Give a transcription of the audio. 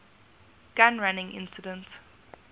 gun running incident